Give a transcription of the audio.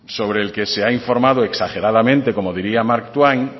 sobre el que se ha informado exageradamente como diría mark twain